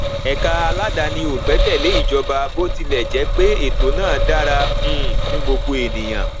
ẹka aládani ò gbẹkẹlé ìjọba bó tilẹ jẹ pé ètò náà dára um fún gbogbo ènìyàn